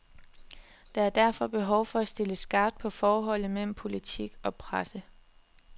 Der er derfor behov for at stille skarpt på forholdet mellem politik og presse.